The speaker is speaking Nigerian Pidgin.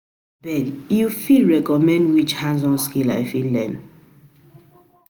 abeg you fit zoocommend which hand hand skills I fit learn?